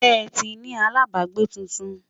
ṣé tí ní alábágbé túntùn?